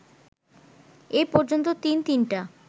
এই পর্যন্ত তিন তিনটা